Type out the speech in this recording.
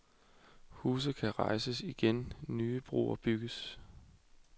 Huse kan rejses igen, nye broer bygges.